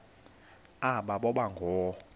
aba boba ngoo